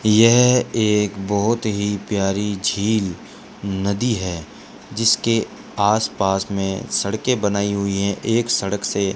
यह एक बहुत ही प्यारी झील नदी है जिसके आसपास में सड़कें बनाई हुई हैं एक सड़क से --